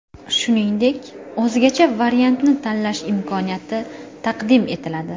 Shuningdek, o‘zgacha variantni tanlash imkoniyati taqdim etiladi.